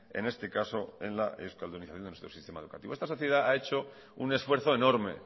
en este caso en la euskaldunización de nuestro sistema educativo esta sociedad ha hecho un esfuerzo enorme